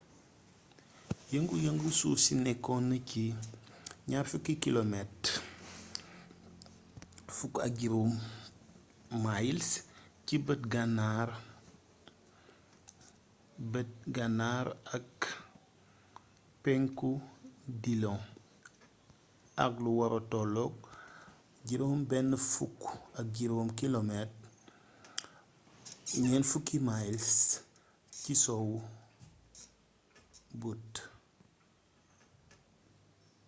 yëngu yëngu suuf si nekkoon na ci 20 km 15 milesci beet gannar-beet gannar ak pénku dillon ak lu wara tollok 65 km 40 miles ci sowwu butte